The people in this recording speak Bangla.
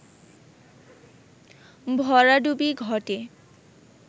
ভরাডুবি ঘটে